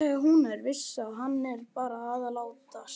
Hún er viss um að hann er bara að látast.